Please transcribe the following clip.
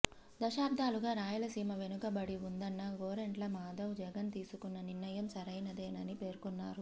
దశాబ్దాలుగా రాయలసీమ వెనుకబడి ఉందన్న గోరంట్ల మాధవ్ జగన్ తీసుకున్న నిర్ణయం సరైనదని పేర్కొన్నారు